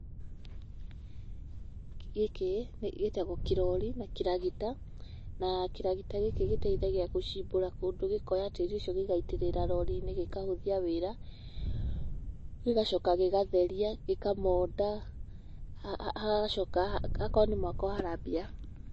Gĩkĩ gĩtagwo kĩrori na kĩragita, na kĩragita gĩkĩ gĩteithagia gũcimbũra kũndũ, gĩkoya tĩĩri ũcio gĩgaitĩrĩra rori-inĩ na gĩkahũthia wĩra, gĩgacoka gĩgatheria, gĩkamonda, hagacoka hakorwo nĩ mwako harambia...